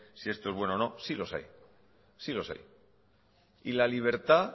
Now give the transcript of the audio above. si esto es bueno o no sí los hay sí los hay y la libertad